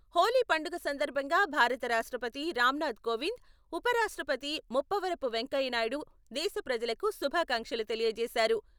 హోలీ పండుగ సందర్భంగా భారత రాష్ట్రపతి రామ్నాథ్ కోవింద్, ఉప రాష్ట్రపతి ముప్పవరపు వెంకయ్యనాయుడు దేశ ప్రజలకు శుభాకాంక్షలు తెలియజేశారు.